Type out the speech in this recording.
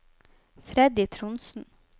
Freddy Trondsen